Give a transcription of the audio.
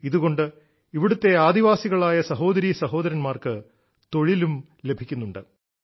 ഇതുകൊണ്ട് ഇവിടത്തെ ആദിവാസികളായ സഹോദരീ സഹോദര•ാർക്ക് തൊഴിലും ലഭിക്കുന്നുണ്ട്